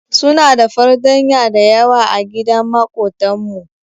Su na da fartanya dayawa agidan makotan mu.